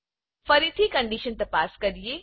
ફરથી condition તપાસ કરીએ છે